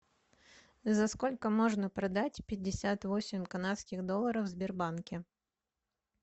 за сколько можно продать пятьдесят восемь канадских долларов в сбербанке